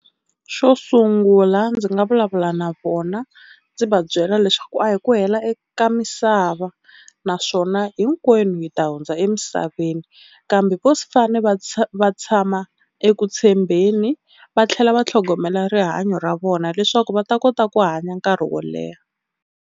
Xo sungula ndzi nga vulavula na vona ndzi va byela leswaku a hi ku hela eka misava, naswona hinkwenu hi ta hundza emisaveni kambe vo fane va va tshama eku tshembeni va tlhela va tlhogomela rihanyo ra vona leswaku va ta kota ku hanya nkarhi wo leha.